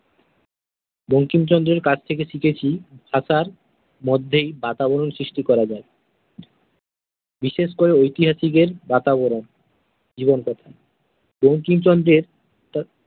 বঙ্কিমচন্দ্রের কাছ থেকে শিখেছি ভাষার মধ্যেই বাতাবরণ সৃষ্টি করা যায়। বিশেষ করে ঐতিহাসিক এর বাতাবরণ জীবন কথা। বঙ্কিমচন্দ্রের তার।